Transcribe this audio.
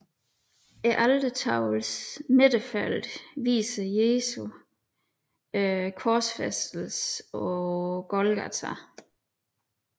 Altertavlens midterfelt viser Jesu korsfæstelse på Golgata